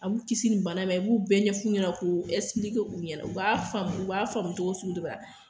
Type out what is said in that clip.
A b'u kisi nin bana ma i b'u bɛɛ ɲɛfɔ u ɲɛna ko u ɲɛna ,u b'a faamu u b'a faamu cogo sugu dɔ la.